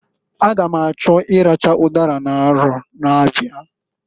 A ga m achọ ịracha ụdara n'arọ na-abịa.